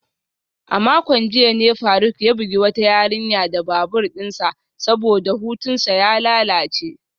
A makon jiya ne faruk ya bugi wata yarinya da babur dinsa saboda hutunsa ya lalace.